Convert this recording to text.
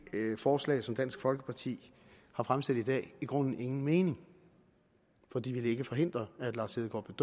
forslag som dansk folkeparti har fremsat i dag i grunden ingen mening for det ville forhindret at lars hedegaard